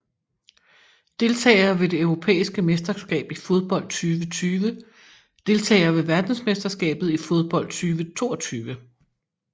Deltagere ved det europæiske mesterskab i fodbold 2020 Deltagere ved verdensmesterskabet i fodbold 2022